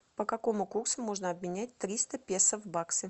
по какому курсу можно обменять триста песо в баксы